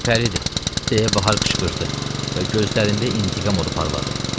Gülpəridir, deyə Bahar qışqırdı və gözlərində intiqam odu parladı.